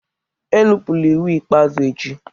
Enupụla iwu ikpeazụ echi!